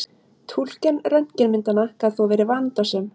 Túlkun röntgenmyndanna gat þó verið vandasöm.